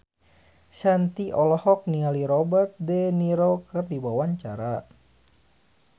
Shanti olohok ningali Robert de Niro keur diwawancara